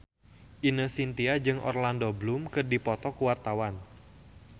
Ine Shintya jeung Orlando Bloom keur dipoto ku wartawan